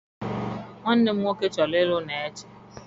Nwanne m nwoke chọrọ ịlụ Neche.